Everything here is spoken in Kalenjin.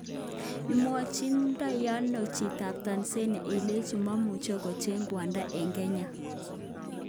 Imwochindoiano chitab Tanzania ilechi momuche kocheng kwondo eng kenya?